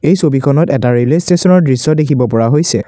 এই ছবিখনত এটা ৰেলৱে ষ্টেচনৰ দৃশ্য দেখিব পৰা হৈছে।